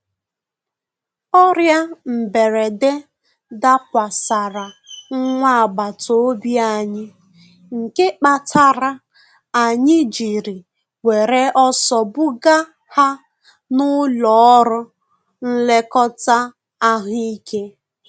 Ọrịa mberede dakwasara nwa agbata obi anyị, nke kpatara anyị jiri were ọsọ buga ha n'ụlọ ọrụ nlekọta ahụ ike.